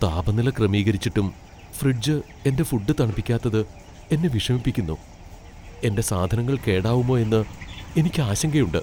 താപനില ക്രമീകരിച്ചിട്ടും ഫ്രിഡ്ജ് എന്റെ ഫുഡ് തണുപ്പിക്കാത്തത് എന്നെ വിഷമിപ്പിക്കുന്നു, എന്റെ സാധനങ്ങൾ കേടാവുമോ എന്ന് എനിക്ക് ആശങ്കയുണ്ട്.